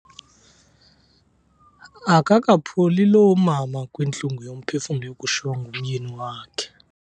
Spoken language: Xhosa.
Akakapholi lo mama kwintlungu yomphefumlo yokushiywa ngumyeni wakhe.